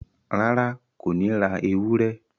Rárá, Kò ní ra ewúrẹ́